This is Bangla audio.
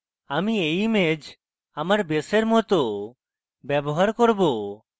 আমি এই image আমার base মত ব্যবহার করব